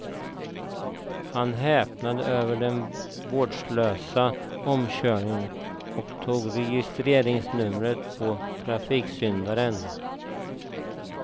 Han häpnade över den vårdslösa omkörningen och tog registreringsnumret på trafiksyndaren.